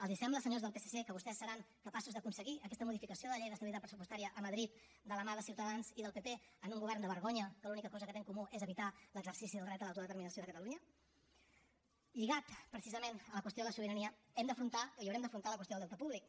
els sembla senyors del psc que vostès seran capaços d’aconseguir aquesta modificació de la llei d’estabilitat pressupostària a madrid de la mà de ciutadans i del pp en un govern de vergonya que l’única cosa que té en comú és evitar l’exercici del dret a l’autodeterminació de catalunya lligat precisament a la qüestió de la sobirania hem d’afrontar i haurem d’afrontar la qüestió del deute públic